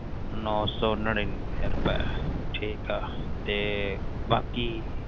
ਨੋਨਸੋ ਨਾਰੀਨਵੇਯ ਰੁਪਏ ਠੀਕ ਆ